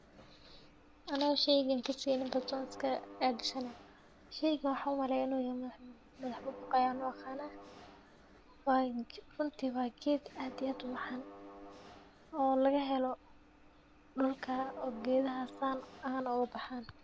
Ano sheygan kaseynin balse iska adisanay sheygan maxan umaleya in u madhax bubuq yahay ayan u aqana runti waa geed aad iyo aad u macan oo laga dulka geedhaha san oga baxan.